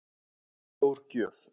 Stór gjöf